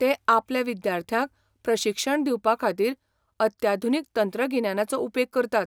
ते आपल्या विद्यार्थ्यांक प्रशिक्षण दिवपा खातीर अत्याधुनीक तंत्रगिन्यानाचो उपेग करतात.